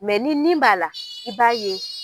ni nin b'a la i b'a ye.